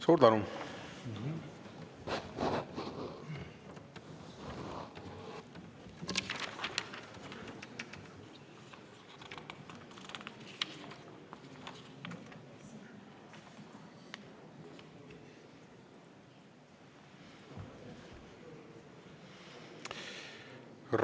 Suur tänu!